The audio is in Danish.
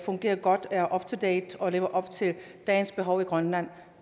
fungerer godt er up to date og lever op til dagens behov i grønland